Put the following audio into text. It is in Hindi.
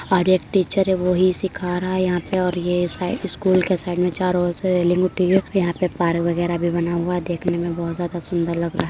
और एक टीचर है। वो ही सिखा रहा है। यहां पे और ये साइड स्कूल के साइड में चारों ओर से रेलिंग उठी हुई है। यहां पे पार्क वगैरह भी बना हुआ है। देखने में बहोत ज्यादा सुंदर लग रहा है।